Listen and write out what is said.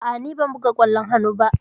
A'a, ni ban buga ƙwallon hannu ba.